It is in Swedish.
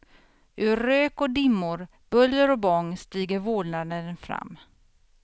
Ur rök och dimmor, buller och bång stiger vålnaden fram.